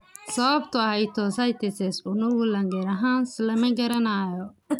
Sababta histiocytosis unug Langerhans lama garanayo.